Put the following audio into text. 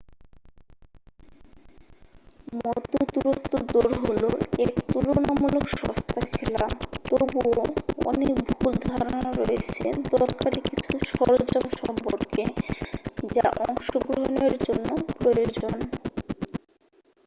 মধ্যদূরত্ব দৌড় হল এক তুলনামূলক সস্তা খেলা তবুও অনেক ভুল ধারণা রয়েছে দরকারি কিছু সরঞ্জাম সম্পর্কে যা অংশগ্রহণের জন্য প্রয়োজন